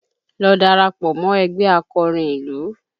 Lọ darapọ̀ mọ ẹgbẹ́ akọrin ìlú!